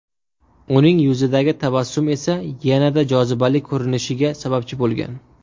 Uning yuzidagi tabassum esa yanada jozibali ko‘rinishiga sababchi bo‘lgan.